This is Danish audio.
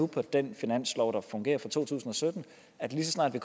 på den finanslov der fungerer altså for to tusind og sytten at lige så snart vi